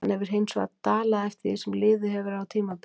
Hann hefur hinsvegar dalað eftir því sem liðið hefur á tímabilið.